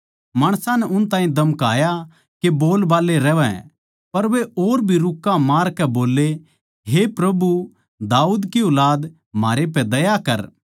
माणसां नै उन ताहीं धमकाया के बोलबाल्ले रहवै पर वे और भी रुक्के मारकै बोल्ले हे प्रभु दाऊद की ऊलाद म्हारै पै दया कर